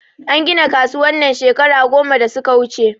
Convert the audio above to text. An gina kasuwan nan shekara goma da suka wuche